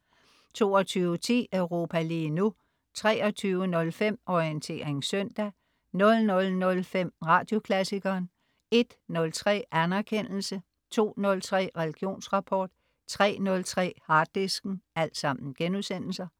22.10 Europa lige nu* 23.05 Orientering søndag* 00.05 Radioklassikeren* 01.03 Anerkendelse* 02.03 Religionsrapport* 03.03 Harddisken*